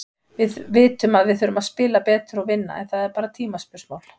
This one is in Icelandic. Við vitum að við þurfum að spila betur og vinna, en það er bara tímaspursmál.